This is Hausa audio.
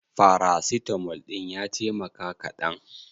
Farasitamol ɗin ya taimaka kaɗan?